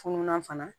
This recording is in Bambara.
Fununan fana